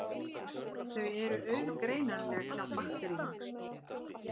Þau eru auðgreinanleg hjá bakteríum.